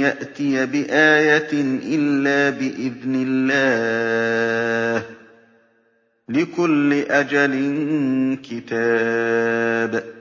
يَأْتِيَ بِآيَةٍ إِلَّا بِإِذْنِ اللَّهِ ۗ لِكُلِّ أَجَلٍ كِتَابٌ